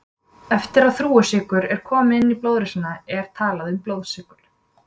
Eftir að þrúgusykur er kominn inn í blóðrásina er talað um blóðsykur.